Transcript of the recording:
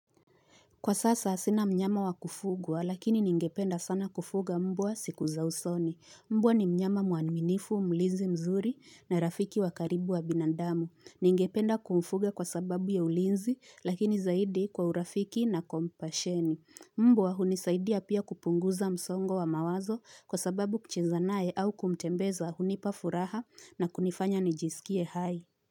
Kwa sasa, sina mnyama wa kufugwa, lakini ningependa sana kufuga mbwa siku za usoni. Mbwa ni mnyama mwaniminifu, mlinzi mzuri na rafiki wa karibu wa binandamu. Ningependa kumfuga kwa sababu ya ulinzi, lakini zaidi kwa urafiki na kompasheni. Mbua hunisaidia pia kupunguza msongo wa mawazo kwa sababu kucheza naye au kumtembeza hunipa furaha na kunifanya nijisikie hai.